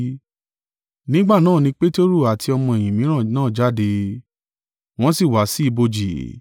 Nígbà náà ni Peteru àti ọmọ-ẹ̀yìn mìíràn náà jáde, wọ́n sì wá sí ibojì.